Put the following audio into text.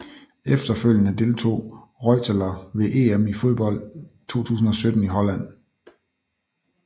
Efterfølgende deltog Reuteler ved EM i fodbold 2017 i Holland